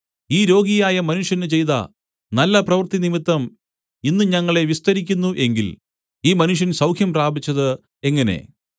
ഈ രോഗിയായ മനുഷ്യന് ചെയ്ത നല്ലപ്രവൃത്തി നിമിത്തം ഇന്ന് ഞങ്ങളെ വിസ്തരിക്കുന്നു എങ്കിൽ ഈ മനുഷ്യൻ സൗഖ്യം പ്രാപിച്ചത് എങ്ങനെ